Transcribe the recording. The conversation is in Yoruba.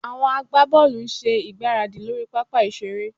Àwọn agbábọ́ọ̀lù ń ṣe ìgbáradì lórí pápá ìṣeré